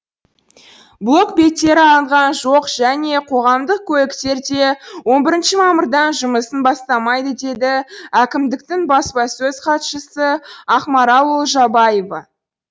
блокбеттер алынған жоқ және қоғамдық көліктер де он бірінші мамырдан жұмысын бастамайды деді әкімдіктің баспасөз хатшысы ақмарал олжабаева